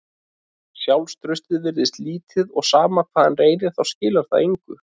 Sjálfstraustið virðist lítið og sama hvað hann reynir þá skilar það engu.